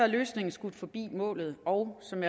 løsningen skudt forbi målet og som